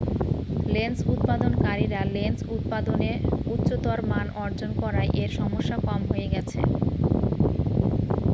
lens উৎপাদন কারীরা lens উৎপাদনে উচ্চতর মান অর্জন করায় এর সমস্যা কম হয়ে গেছে